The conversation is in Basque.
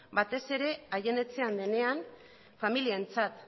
batez ere haien etxean denean familientzat